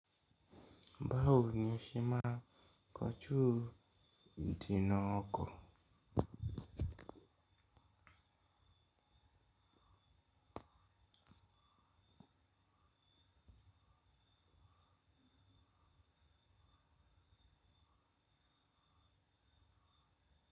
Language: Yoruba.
Báwo ni o se máa n kọjú ìdènà ọkọ̀?